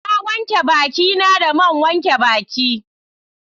Na wanke baki na da man wanke baki